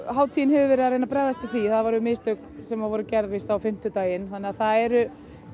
hátíðin hefur verið að reyna að bregðast við því þetta voru mistök sem voru gerð á fimmtudaginn þannig að það er